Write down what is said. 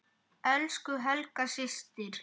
Elsku Helga systir.